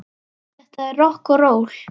Þetta er rokk og ról.